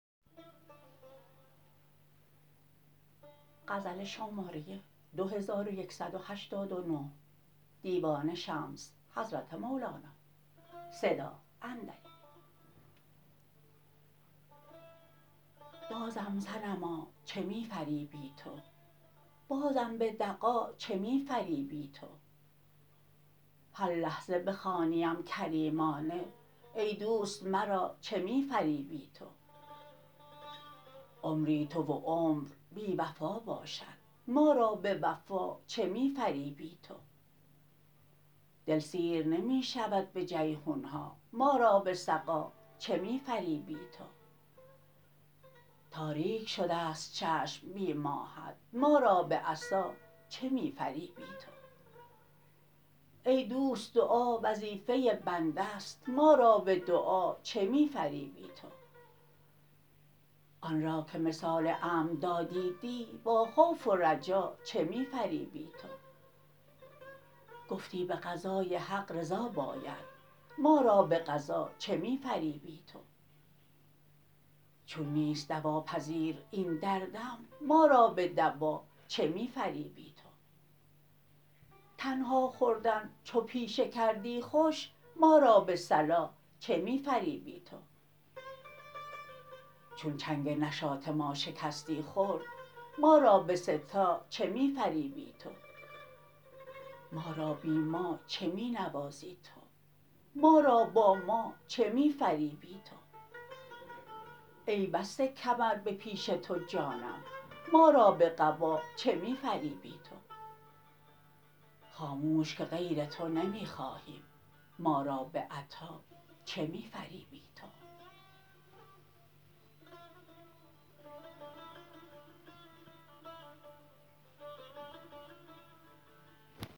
بازم صنما چه می فریبی تو بازم به دغا چه می فریبی تو هر لحظه بخوانیم کریمانه ای دوست مرا چه می فریبی تو عمری تو و عمر بی وفا باشد ما را به وفا چه می فریبی تو دل سیر نمی شود به جیحون ها ما را به سقا چه می فریبی تو تاریک شده ست چشم بی ماهت ما را به عصا چه می فریبی تو ای دوست دعا وظیفه بنده ست ما را به دعا چه می فریبی تو آن را که مثال امن دادی دی با خوف و رجا چه می فریبی تو گفتی به قضای حق رضا باید ما را به قضا چه می فریبی تو چون نیست دواپذیر این دردم ما را به دوا چه می فریبی تو تنها خوردن چو پیشه کردی خوش ما را به صلا چه می فریبی تو چون چنگ نشاط ما شکستی خرد ما را به سه تا چه می فریبی تو ما را بی ما چه می نوازی تو ما را با ما چه می فریبی تو ای بسته کمر به پیش تو جانم ما را به قبا چه می فریبی تو خاموش که غیر تو نمی خواهیم ما را به عطا چه می فریبی تو